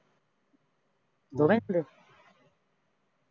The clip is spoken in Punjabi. ਦੋਵੇਂ ਇੱਕ ਜਗ੍ਹਾ